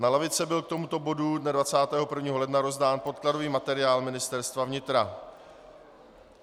Na lavice byl k tomuto bodu dne 21. ledna rozdán podkladový materiál Ministerstva vnitra.